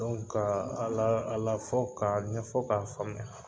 ka a lafɔ k'a ɲɛfɔ k'a faamuya